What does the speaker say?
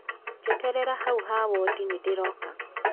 Jeterera hau ha Wuodi nĩndĩroka.